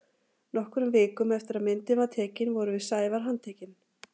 Nokkrum vikum eftir að myndin var tekin vorum við Sævar handtekin.